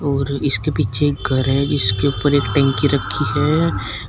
और इसके पीछे एक घर है जिसके ऊपर एक टंकी रखी है।